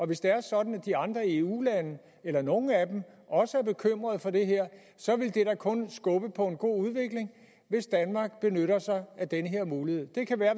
hvis det er sådan at de andre eu lande eller nogle af dem også er bekymrede for det her så vil det da kun skubbe på en god udvikling hvis danmark benytter sig af den her mulighed det kan være